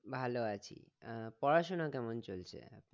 ভালো আছি আহ পড়াশুনো কেমন চলছে?